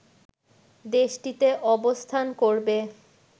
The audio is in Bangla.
দেশটিতে অবস্থান করবে